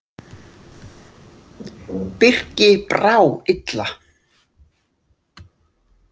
Birki brá illa.